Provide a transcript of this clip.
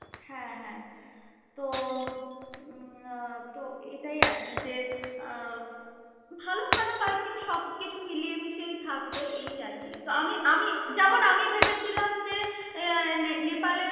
হ্যা হ্যা তো উম তো এটাই আর কি, যে আহ ভাল খারাপ i think সব কিছু মিলিয়ে মিশে থাকবে এই আর কি, তো আমি আমি যেমন আমি ভেবেছিলাম যে আহ নেপালে